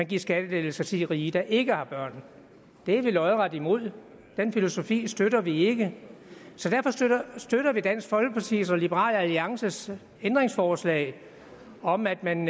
give skattelettelser til de rige der ikke har børn det er vi lodret imod den filosofi støtter vi ikke så derfor støtter støtter vi dansk folkepartis og liberal alliances ændringsforslag om at man